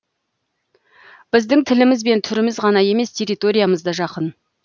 біздің тіліміз бен түріміз ғана емес территориямыз да жақын